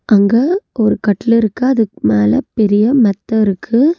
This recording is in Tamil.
அங்க ஒரு கட்லு இருக்கு அதுக்கு மேல பெரிய மெத்த இருக்கு.